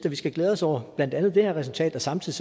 at vi skal glæde os over blandt andet det her resultat og samtidig